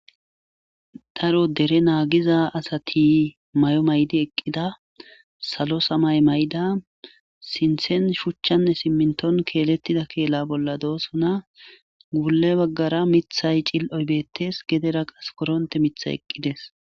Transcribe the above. Daro dere naagiza asati may'o maydi eqqida salo samay may'ida sinthen shuchchanne simminton keelettida keela bolla doosona guule baggara mithay cil'oy beettes gedera qas koronte mitha eqqides.